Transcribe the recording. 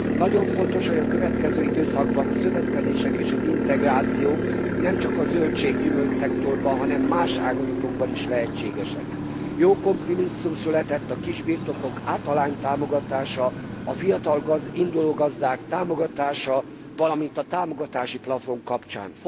Nagyon fontos, hogy a következő időszakban a szövetkezések és az integráció nemcsak zöldég és gyümölcsszektorban, hanem más ágazatokban is lehetségessé válik. Jó kompromisszum született a kisbirtokok átalánytámogatása, a fiatal, induló gazdák támogatása, valamint a támogatási plafon kapcsán.